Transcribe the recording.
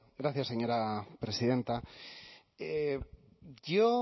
gracias señora presidenta yo